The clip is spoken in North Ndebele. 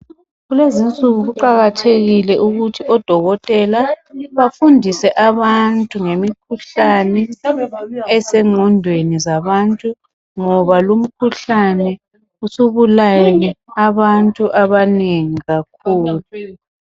Kulezi insuku kuqakathekile ukuthi odokotela bafundise abantu ngemikhuhlane oseqondeni zabantu. Ngoba lo mkhuhlane usubulele abantu abanengi kakhulu.